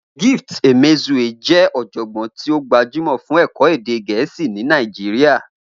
Gift Emezue jẹ́ ọ̀jọ̀gbọ́n tí ó gbajúmọ̀ fún ẹ̀kọ́ èdè Gẹ̀ẹ́sì ní Nàìjíríà